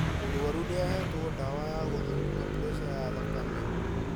Mũrwaru nĩahetwo ndawa ya gũthũrima preca ya thakame